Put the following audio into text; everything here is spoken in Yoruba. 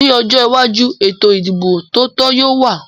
Ní ọjọ́ iwájú, ètò ìdìbò tó tò yóò wà